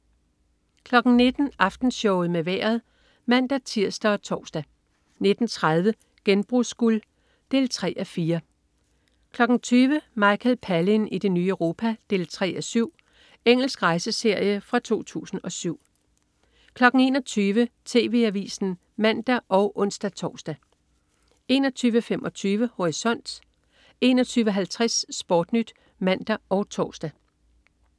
19.00 Aftenshowet med Vejret (man-tirs og tors) 19.30 Genbrugsguld 3:4 20.00 Michael Palin i det nye Europa 3:7. Engelsk rejseserie fra 2007 21.00 TV Avisen (man og ons-tors) 21.25 Horisont 21.50 SportNyt (man og tors)